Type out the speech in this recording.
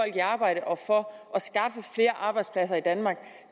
i arbejde og for at arbejdspladser i danmark